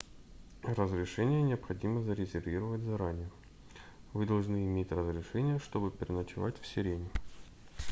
разрешения необходимо зарезервировать заранее вы должны иметь разрешение чтобы переночевать в сирене